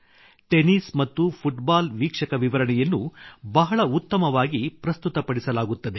tennis ಮತ್ತು football ವೀಕ್ಷಕ ವಿವರಣೆಯನ್ನು ಬಹಳ ಉತ್ತಮವಾಗಿ ಪ್ರಸ್ತುತಪಡಿಸಲಾಗುತ್ತದೆ